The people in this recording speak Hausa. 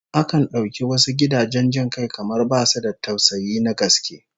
Akan dauki wasu gidajen jin kai kamar basu da tausayi na gaske